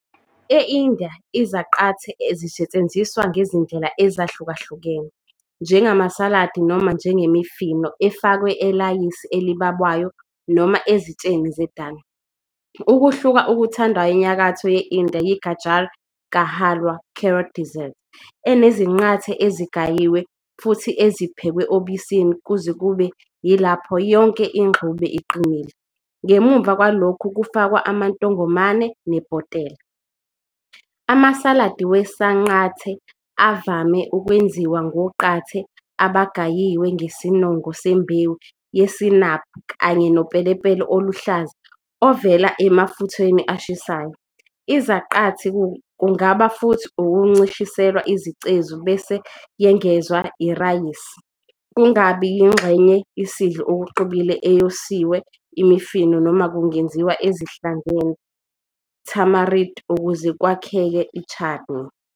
ENdiya izaqathe zisetshenziswa ngezindlela ezahlukahlukene, njengamasaladi noma njengemifino efakwa elayisi elibabayo noma ezitsheni zedal. Ukuhluka okuthandwayo enyakatho ye-India yi- Gajar Ka Halwa carrot dessert, enezinqathe ezigayiwe futhi eziphekwe obisini kuze kube yilapho yonke ingxube iqinile, ngemuva kwalokho kufakwa amantongomane nebhotela. Amasaladi wesanqante avame ukwenziwa ngoqathe abagayiwe ngesinongo sembewu yesinaphi kanye nopelepele oluhlaza ovele emafutheni ashisayo. Izaqathi kungaba futhi ukuncishiselwa izicezu bese yengezwa irayisi, kungaba yingxenye isidlo okuxubile eyosiwe imifino noma kungenziwa ezihlangene tamarind ukuze ukwakheka chutney.